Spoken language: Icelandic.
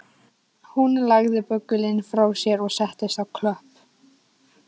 Hún lagði böggulinn frá sér og settist á klöpp